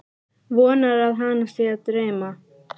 Vonar að hana sé að dreyma.